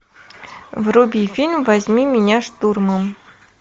вруби фильм возьми меня штурмом